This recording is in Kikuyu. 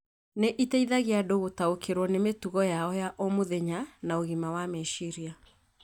nĩ iteithagia andũ gũtaũkĩrũo nĩ mĩtugo yao ya o mũthenya na ũgima wa meciria.